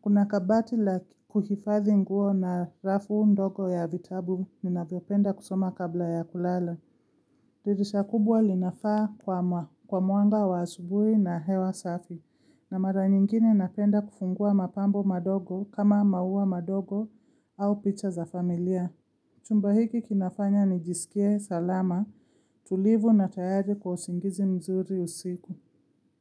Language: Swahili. Kuna kabati la kuhifadhi nguo na rafu ndogo ya vitabu nina vyopenda kusoma kabla ya kulala. Dirisha kubwa linafaa kwa mwanga wa asubui na hewa safi, na mara nyingine napenda kufungua mapambo madogo kama maua madogo au picha za familia. Chumba hiki kinafanya ni jisikie salama, tulivu na tayari kwa usingizi mzuri usiku.